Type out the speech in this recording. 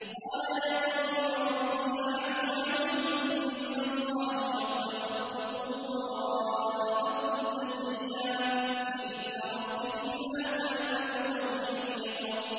قَالَ يَا قَوْمِ أَرَهْطِي أَعَزُّ عَلَيْكُم مِّنَ اللَّهِ وَاتَّخَذْتُمُوهُ وَرَاءَكُمْ ظِهْرِيًّا ۖ إِنَّ رَبِّي بِمَا تَعْمَلُونَ مُحِيطٌ